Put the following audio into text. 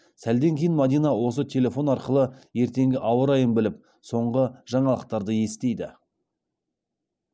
сәлден кейін мадина осы телефон арқылы ертеңгі ауа райын біліп соңғы жаңалықтарды естиді